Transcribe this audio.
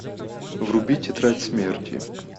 вруби тетрадь смерти